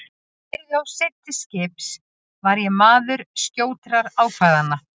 Þótt ég yrði of seinn til skips var ég maður skjótra ákvarðana.